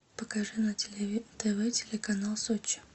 покажи на тв телеканал сочи